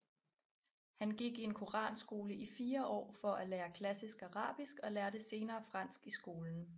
Han gik i en Koranskole i fire år for at lære klassisk Arabisk og lærte senere fransk i skolen